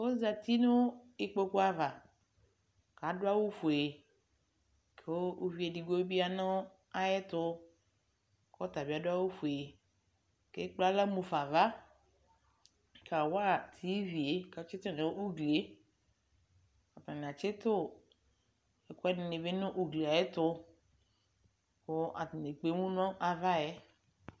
Ozati nʋ ikpoku ava k'adʋ awʋ fue kʋ uvi edigbo bɩ ya nʋ ayɛtʋ k'ɔtabɩ adʋ awʋ fue k'ekple aɣla ɣafa ava kawa TV yɛ k'atsɩtʋ nʋ ugli yɛ Atanɩ atsɩtʋ ɛkʋɛdɩnɩ bɩ nʋ ugli yɛ ayɛtʋ kb atsnɩ ekpemu nʋ ava yɛ